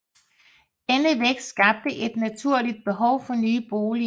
Denne vækst skabte et naturligt behov for nye boliger